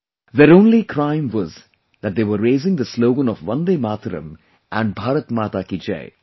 Their only crime was that they were raising the slogan of 'Vande Matram' and 'Bharat Mata Ki Jai'